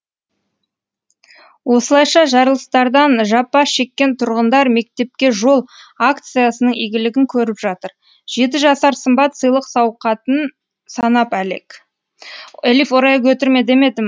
осылайша жарылыстардан жапа шеккен тұрғындар мектепке жол акциясының игілігін көріп жатыр жеті жасар сымбат сыйлық сауқатын санап әлек